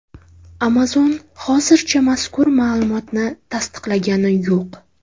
Amazon hozircha mazkur ma’lumotni tasdiqlagani yo‘q.